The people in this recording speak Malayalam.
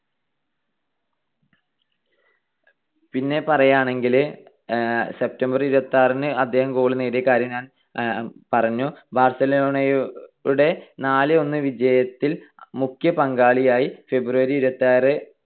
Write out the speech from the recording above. പിന്നെ പറയാണെങ്കില് September r ഇരുപത്തിയാറിന് അദ്ദേഹം goal നേടിയ കാര്യം ഞാൻ പറഞ്ഞു. ബാർസലോണയുടെ നാല് - ഒന്ന് വിജയത്തിൽ മുഖ്യ പങ്കാളിയായി. February ഇരുപത്തിയാറ്